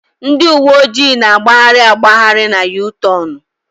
Ndị uwe ojii na-agbagharị agbagharị na U-tornu.